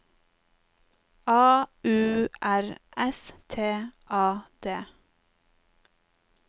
A U R S T A D